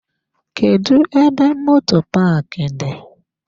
Kedụ ebe moto paaki dị?